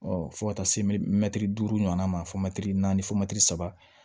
fo ka taa se mɛtiri duuru ɲɔgɔnna ma fɔ mɛtiri naani fomɛtiri saba